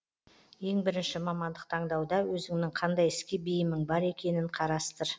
ең бірінші мамандық таңдауда өзіңнің қандай іске бейімің бар екенін қарастыр